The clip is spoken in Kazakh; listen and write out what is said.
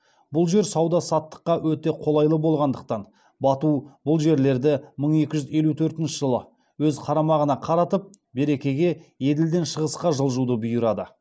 бұл жер сауда саттыққа өте қолайлы болғандықтан бату бұл жерлерді мың екі жүз елу төртінші жылы өз қарамағына қаратып беркеге еділден шығысқа жылжуды бұйырады